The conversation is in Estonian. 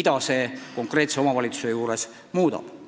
mis konkreetses omavalitsuses ju muutub.